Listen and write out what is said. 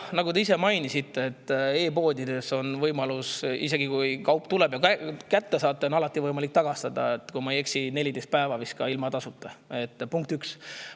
Nagu te ise mainisite, isegi kui kaup tuleb ja selle kätte saate, on e‑poodidel alati võimalus see tagastada, kui ma ei eksi, 14 päeva vist ilma tasuta, punkt üks.